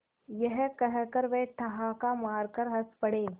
यह कहकर वे ठहाका मारकर हँस पड़े